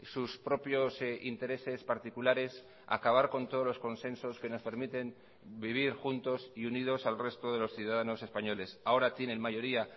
sus propios intereses particulares acabar con todos los consensos que nos permiten vivir juntos y unidos al resto de los ciudadanos españoles ahora tienen mayoría